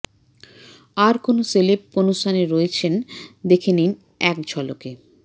আর কোন সেলেব কোনস্থানে রয়েছেন দেখে নিন এক ঝলকে